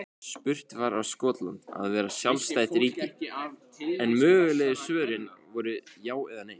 Spurt var á Skotland að vera sjálfstætt ríki? en mögulegu svörin voru já eða nei.